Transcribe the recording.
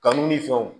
Kanu ni fɛnw